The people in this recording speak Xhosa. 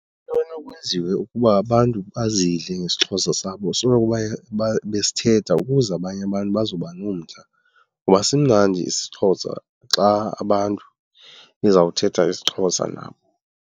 Into enokwenziwa ukuba abantu bazidle ngesiXhosa sabo soloko besithetha ukuze abanye abantu bazoba nomdla, ngoba simnandi isiXhosa xa abantu nizawuthetha isiXhosa nabo.